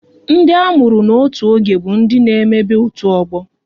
Ndị a mụrụ n'otu oge bụ ndị n'emebe otu ọgbọ